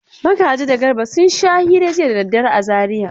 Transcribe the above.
Magaji da Garba sun sha hira jiya da daddare a Zariya.